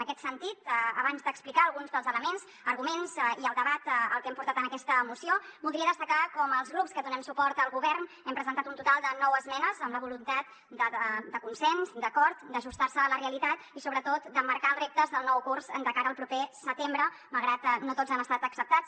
en aquest sentit abans d’explicar alguns dels elements arguments i el debat que hem portat en aquesta moció voldria destacar com els grups que donem suport al govern hem presentat un total de nou esmenes amb la voluntat de consens d’acord d’ajustar se a la realitat i sobretot d’emmarcar els reptes del nou curs de cara al proper setembre malgrat que no tots han estat acceptats